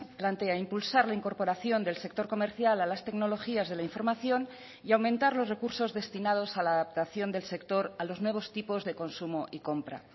plantea impulsar la incorporación del sector comercial a las tecnologías de la información y aumentar los recursos destinados a la adaptación del sector a los nuevos tipos de consumo y compra